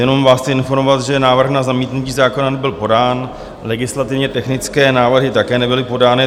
Jenom vás chci informovat, že návrh na zamítnutí zákona nebyl podán, legislativně technické návrhy také nebyly podány.